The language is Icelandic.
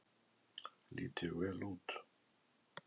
Lít ég vel út?